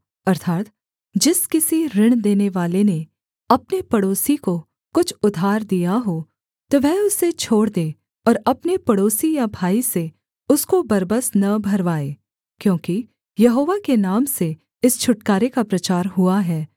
अर्थात् जिस किसी ऋण देनेवाले ने अपने पड़ोसी को कुछ उधार दिया हो तो वह उसे छोड़ दे और अपने पड़ोसी या भाई से उसको बरबस न भरवाए क्योंकि यहोवा के नाम से इस छुटकारे का प्रचार हुआ है